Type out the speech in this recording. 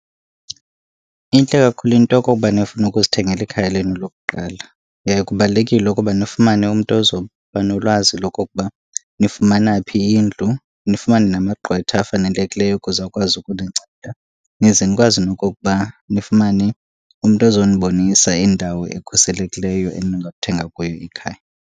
Intle kakhulu into koba nifune ukuzithengela ikhaya lenu lokuqala. Yaye kubalulekile ukuba nifumane umntu ozoba nolwazi lokokuba nifumana phi indlu, nifumane namagqwetha afanelekileyo ukuze akwazi ukuninceda. Nize nikwazi nokokuba nifumane umntu ozonibonisa indawo ekhuselekileyo eningathenga kuyo ikhaya.